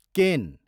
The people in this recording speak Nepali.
केन